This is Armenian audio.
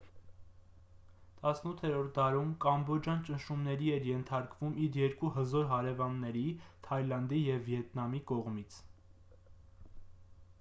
18-րդ դարում կամբոջան ճնշումների էր ենթարկվում իր երկու հզոր հարևանների թայլանդի և վիետնամի կողմից